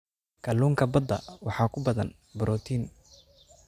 Kalluunka badda waxaa ku badan borotiin.